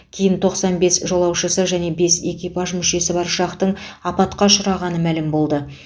кейін тоқсан бес жолаушысы және бес экипаж мүшесі бар ұшақтың апатқа ұшырағаны мәлім болды